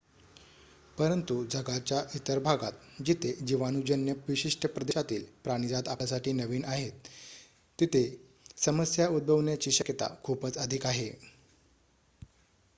परंतु जगाच्या इतर भागात जिथे जीवाणूजन्य विशिष्ट प्रदेशातील प्राणिजात आपल्यासाठी नवीन आहेत तिथे समस्या उद्भवण्याची शक्यता खूपच अधिक आहे